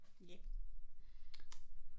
Ja. Ja!